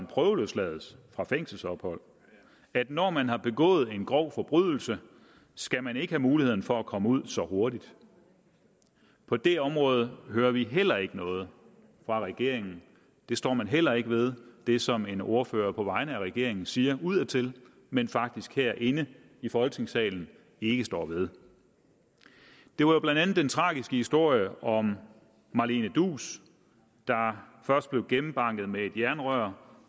prøveløsladt fra fængselsophold når man har begået en grov forbrydelse skal man ikke have mulighed for at komme ud så hurtigt på det område hører vi heller ikke noget fra regeringen det står man heller ikke ved det som en ordfører på vegne af regeringen siger udadtil men faktisk her inde i folketingssalen ikke står ved det var jo blandt andet den tragiske historie om marlene duus der først blev gennembanket med et jernrør